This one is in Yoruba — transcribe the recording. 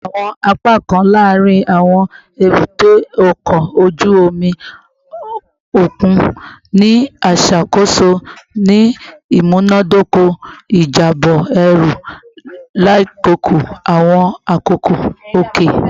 Awọn apakan laarin awọn ebute oko oju omi okun ni iṣakoso ni imunadoko ijabọ eru lakoko awọn akoko oke